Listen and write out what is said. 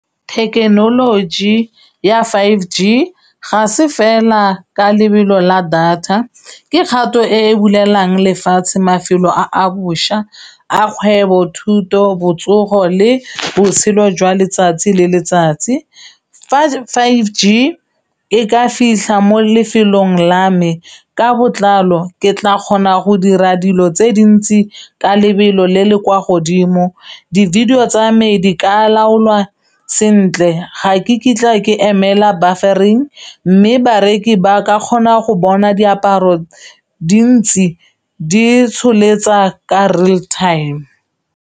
Thekenoloji ya five G ga se fela ka lebelo la data ke kgato e e bulelang lefatshe mafelo a a bošwa a kgwebo, thuto, botsogo le botshelo jwa letsatsi le letsatsi fa five G e ka fitlha mo lefelong la me ka botlalo ke tla kgona go dira dilo tse dintsi ka lebelo le le kwa godimo di-video tsa me di ka laolwa sentle ga ke kitla ke emela mme bareki ba ka kgona go bona diaparo dintsi di tsholetsa ka real time.